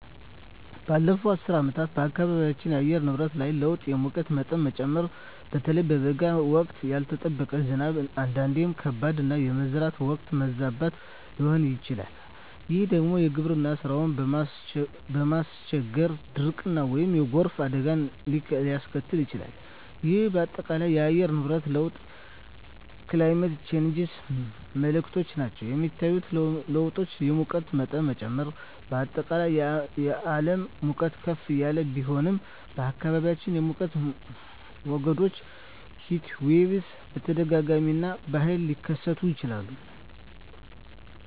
ባለፉት አስርት ዓመታት በአካባቢያችን የአየር ንብረት ላይ ለውጥ የሙቀት መጠን መጨመር (በተለይ በበጋ ወቅት)፣ ያልተጠበቀ ዝናብ (አንዳንዴም ከባድ)፣ እና የመዝራት ወቅት መዛባት ሊሆን ይችላል፤ ይህ ደግሞ የግብርና ሥራን በማስቸገር ድርቅን ወይም የጎርፍ አደጋን ሊያስከትል ይችላል፣ ይህም በአጠቃላይ የአየር ንብረት ለውጥ (Climate Change) ምልክቶች ናቸው. የሚታዩ ለውጦች: የሙቀት መጠን መጨመር: በአጠቃላይ የዓለም ሙቀት ከፍ እያለ ቢሄድም፣ በአካባቢዎም የሙቀት ሞገዶች (Heatwaves) በተደጋጋሚ እና በኃይል ሊከሰቱ ይችላሉ.